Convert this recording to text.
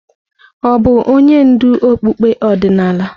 Ọ̀ bụ onye ndú okpukpe ọdịnala?